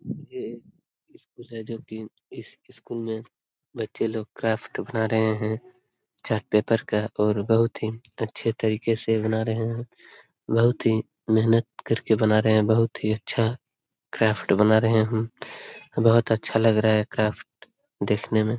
ये एक स्कूल है जो की इस स्कूल में बच्चे लोग क्राफ्ट बना रहे हैं चार्ट पेपर का और बहुत ही अच्छे तरीके से बना रहे हैं । बहुत ही मेहनत करके बना रहे हैं । बहुत ही अच्छा क्राफ्ट बना रहे हम । बहुत अच्छा लग रहा है क्राफ्ट देखने में ।